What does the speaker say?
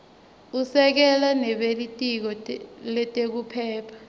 usekela nebelitiko letekuphepha